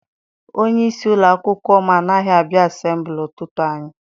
Onyeisi ụlọakwụkwọ m anaghị abịa asembuli ụtụtụ anyi.